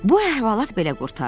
Bu əhvalat belə qurtardı.